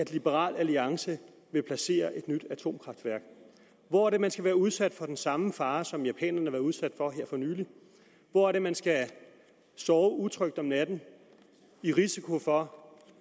liberal alliance vil placere et nyt atomkraftværk hvor er det man skal være udsat for den samme fare som japanerne udsat for her for nylig hvor er det man skal sove utrygt om natten i risiko for